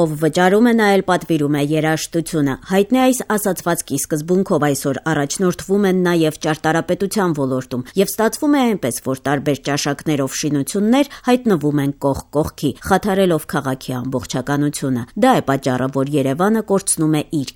«Ով վճարում է՝ նա էլ պատվիրում է երաժշտությունը». հայտնի այս ասացվածքի սկզբունքով այսօր առաջնորդվում են նաեւ ճարտարապետության ոլորտում եւ ստացվում է այնպես, որ տարբեր ճաշակներով շինություններ հայտնվում են կողք կողքի՝ խաթարելով քաղաքի ամբողջականությունը: Դա է պատճառը, որ Երեւանը կորցնում է իր